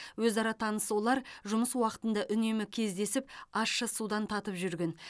өзара таныс олар жұмыс уақытында үнемі кездесіп ащы судан татып жүрген